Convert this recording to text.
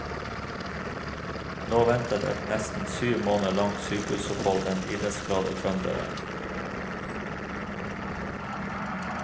Nå ventet et nesten syv måneder langt sykehusopphold den idrettsglade trønderen.